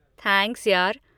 Thanks यार।